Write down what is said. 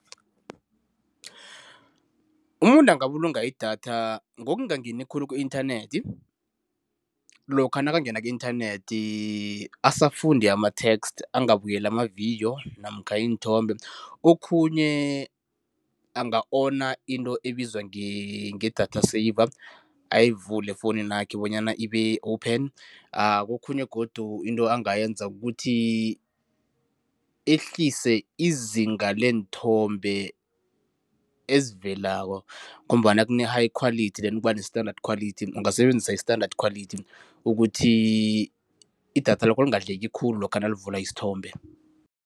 Umuntu angabulunga idatha ngokungangeni khulu ku-inthanethi. Lokha nakangena ku-inthanethi asafunde ama-text, anagbukeli amavidiyo namkha iinthombe. Okhunye anga-ona into ebizwa nge-data saver, ayivule efowunini yakhe bonyana ibe-open. Okhunye godu into angayenza kukuthi ehlise izinga leenthombe ezivelako ngombana kune-high quality then kubane-standard quality, ungasebenzisa i-standard quality ukuthi idatha lakho lingadleki khulu lokha nawuvula isithombe.